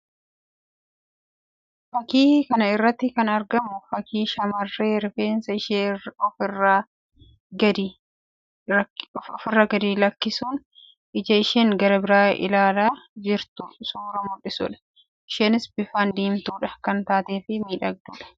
Fakkii kana irratti kan argamu fakkii shamarree rifeensa ishee of irra gadi lakkisuun ija isheen gara biraa ilaalaa jirtu suuraa mul'isuu dha. Isheenis bifaan diimtuu kan taatee fi miidhagduu dha.